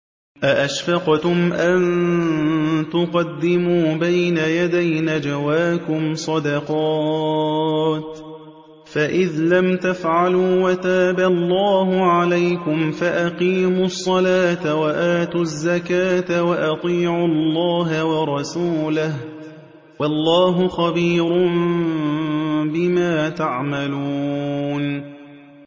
أَأَشْفَقْتُمْ أَن تُقَدِّمُوا بَيْنَ يَدَيْ نَجْوَاكُمْ صَدَقَاتٍ ۚ فَإِذْ لَمْ تَفْعَلُوا وَتَابَ اللَّهُ عَلَيْكُمْ فَأَقِيمُوا الصَّلَاةَ وَآتُوا الزَّكَاةَ وَأَطِيعُوا اللَّهَ وَرَسُولَهُ ۚ وَاللَّهُ خَبِيرٌ بِمَا تَعْمَلُونَ